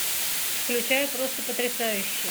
включай просто потрясающе